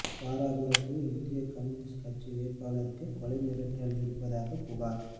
தாராபுரத்தில் இந்திய கம்யூனிஸ்ட் கட்சி வேட்பாளருக்கு கொலை மிரட்டல் விடுப்பதாகப் புகாா்